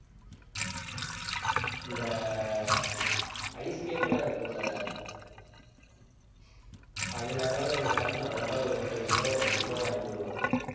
இந்த ice cake எல்லாம் இருக்கும்ல அதுல ஏதாவது ஒண்ணு பார்த்து நல்லதா ஒரு ஒன்றரை kilo இரண்டு kilo வாங்கிட்டு வருவாங்க